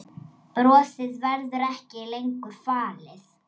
Brosið verður ekki lengur falið.